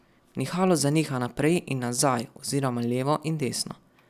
Nihalo zaniha naprej in nazaj oziroma levo in desno.